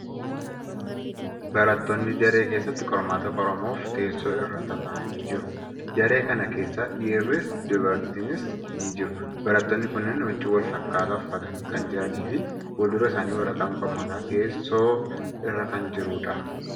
Barattootni daree keessatti qormaata qoramuuf teessoo irra tataa'anii jiru. Daree kana keessa dhiirris, dubartiinis ni jiru. Barattootni kunneen huccuu wal fakkaataa uffatanii kan jiranii fi fuuldura isaanii waraqaan qormaataa teessoo irra kan jiruudha.